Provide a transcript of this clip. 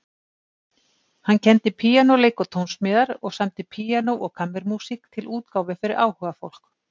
Hann kenndi píanóleik og tónsmíðar og samdi píanó- og kammermúsík til útgáfu fyrir áhugafólk.